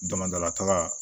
Damadlaka